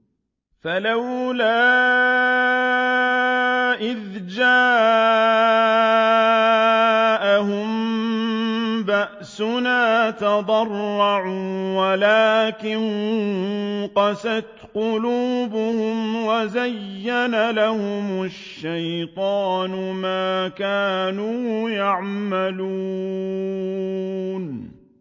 فَلَوْلَا إِذْ جَاءَهُم بَأْسُنَا تَضَرَّعُوا وَلَٰكِن قَسَتْ قُلُوبُهُمْ وَزَيَّنَ لَهُمُ الشَّيْطَانُ مَا كَانُوا يَعْمَلُونَ